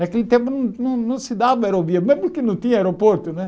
Naquele tempo não não não se dava aerovia, mas porque não tinha aeroporto, né?